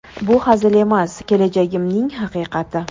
Bu hazil emas, kelajagimning haqiqati.